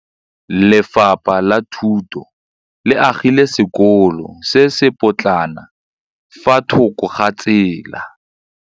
Lefapha la Thuto le agile sekôlô se se pôtlana fa thoko ga tsela.